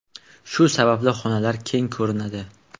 Shu sababli xonalar keng ko‘rinadi.